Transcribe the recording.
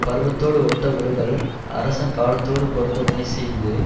பருவத்தோடு ஒட்ட ஒழுகல் அரசன் காலத்தோடு பொருந்த வினைசெய்து